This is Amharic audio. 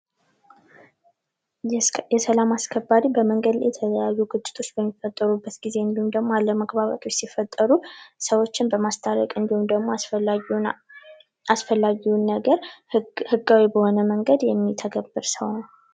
የሰላም አስከባሪ በመንገድ ላይ የተለያዩ ግጭቶች በሚፈጠሩበት ጊዜ እንዲሁም ደግሞ አለመግባባቶች ሲፈጠሩ ሰዎችን በማስታረቅ እንዲሁም ደግሞ አስፈላጊውን ነገር ህጋዊ በሆነ መንገድ የሚተገብር ሰው ነው ።